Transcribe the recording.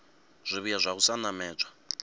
zwivhuya zwa u sa namedza